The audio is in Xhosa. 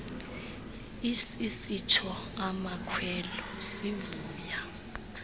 sisitsho amakhwelo sivuya